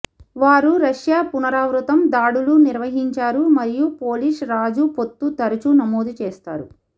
వారు రష్యా పునరావృతం దాడులు నిర్వహించారు మరియు పోలిష్ రాజు పొత్తు తరచూ నమోదు చేస్తారు